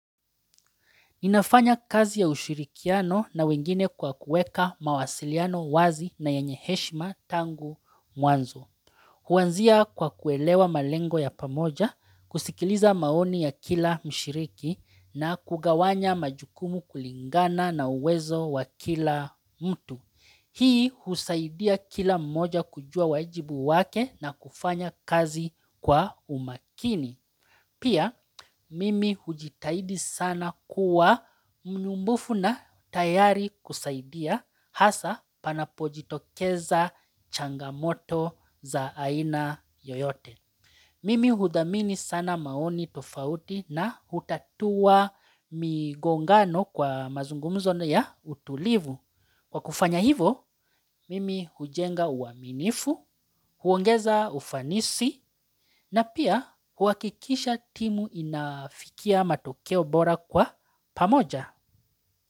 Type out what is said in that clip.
Ninafanya kazi ya ushirikiano na wengine kwa kueka mawasiliano wazi na yenye heshima tangu mwanzo. Huanzia kwa kuelewa malengo ya pamoja, kusikiliza maoni ya kila mshiriki na kugawanya majukumu kulingana na uwezo wa kila mtu. Hii husaidia kila mmoja kujua wajibu wake na kufanya kazi kwa umakini. Pia mimi hujitahidi sana kuwa mnumbufu na tayari kusaidia hasa panapojitokeza changamoto za aina yoyote. Mimi huthamini sana maoni tofauti na hutatua migongano kwa mazungumzo ya utulivu. Kwa kufanya hivo, mimi hujenga uaminifu, huongeza ufanisi na pia uhakikisha timu inafikia matokeo bora kwa pamoja.